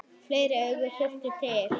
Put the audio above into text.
Fleiri augu þyrfti til.